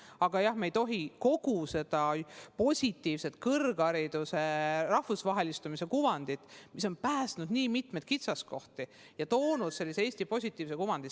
Aga jah, me ei tohi kaotada kogu seda positiivset kõrghariduse rahvusvahelistumise kuvandit, mis on päästnud meid nii mitmetest kitsaskohtadest ja loonud Eestile positiivse kuvandi.